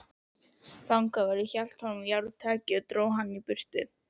Fangavörður hélt honum járntaki og dró hann í burtu.